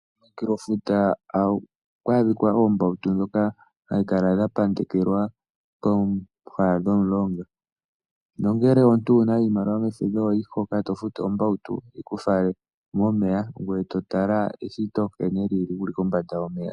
Komunkulo futa ohaku adhika oombautu dhoka hadhi kala dha pandekelwa pooha dhomulonga, nongele omuntu owuna iilamiwa mefudho, ohoyi hoka eto futu ombautu yiku fale momeya ngoye to tala nkene eshito lili, wuli kombanda yomeya.